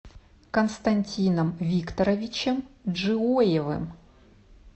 константином викторовичем джиоевым